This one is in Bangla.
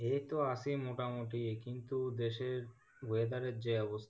এইতো আছি মোটামুটি কিন্তু দেশের weather এর যে অবস্থা